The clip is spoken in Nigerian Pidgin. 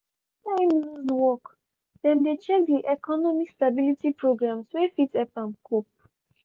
after im lose work dem dey check di economic stability programs wey fit help am cope.